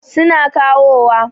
Su na kawowa.